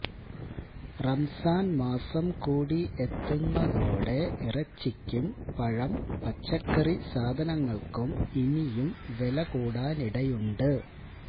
റമസാന് മാസം കൂടി എത്തുന്നതോടെ ഇറച്ചിക്കും പഴം പച്ചക്കറി സാധനങ്ങള്ക്കും ഇനിയും വില കൂടാനിടയുണ്ട്